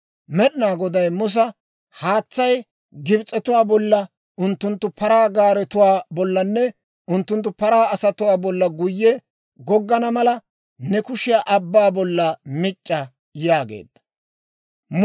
Med'inaa Goday Musa, «Haatsay Gibs'etuwaa bolla, unttunttu paraa gaaretuwaa bollanne unttunttu paraa asatuwaa bolla guyye goggana mala, ne kushiyaa abbaa bollan mic'c'a» yaageedda. Paraynne Paraagaaretuu Olaan